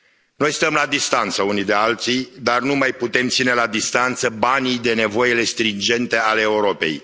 Noi stăm la distanță unii de alții, dar nu mai putem ține la distanță banii de nevoile stringente ale Europei.